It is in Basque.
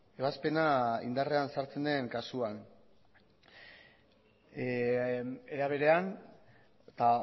ebazpena indarrean sartzen den kasuan era berean eta